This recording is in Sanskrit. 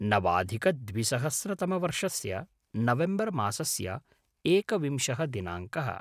नवाधिकद्विसहस्रतमवर्षस्य नवेम्बर् मासस्य एकविंशः दिनाङ्कः